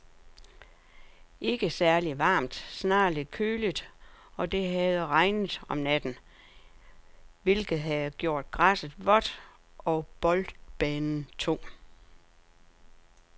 Ikke særligt varmt, snarere lidt køligt, og det havde regnet om natten, hvilket havde gjort græsset vådt og boldbanen tung.